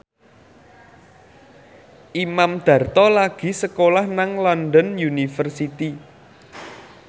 Imam Darto lagi sekolah nang London University